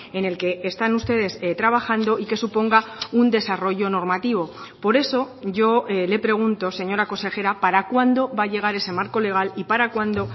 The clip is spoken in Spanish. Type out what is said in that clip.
en el que están ustedes trabajando y que suponga un desarrollo normativo por eso yo le pregunto señora consejera para cuándo va a llegar ese marco legal y para cuándo